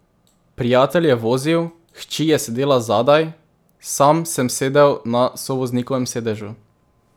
Prijatelj je vozil, hči je sedela zadaj, sam sem sedel na sovoznikovem sedežu.